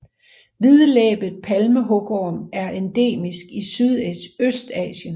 Hvidlæbet palmehugorm er endemisk i Sydøstasien